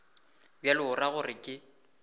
bjalo o ra gore ke